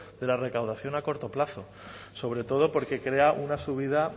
de la recaudación a corto plazo sobre todo porque crea una subida